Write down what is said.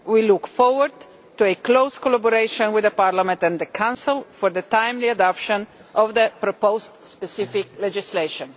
We look forward to close collaboration with Parliament and the Council for the timely adoption of the proposed specific legislation.